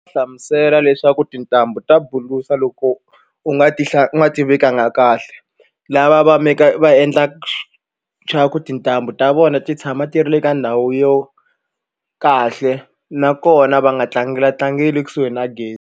Hlamusela leswaku tintambu ta buluka loko u nga ti u nga ti vekanga kahle lava va va endla swa ku tintambu ta vona ti tshama ti ri le ka ndhawu yo kahle nakona va nga tlangela tlangeli ekusuhi na gezi.